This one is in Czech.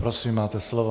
Prosím, máte slovo.